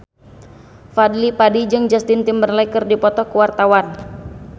Fadly Padi jeung Justin Timberlake keur dipoto ku wartawan